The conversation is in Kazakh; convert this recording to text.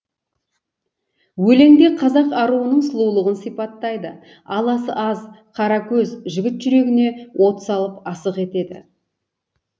өлеңде қазақ аруының сұлулығын сипаттайды аласы аз қара көз жігіт жүрегіне от салып асық етеді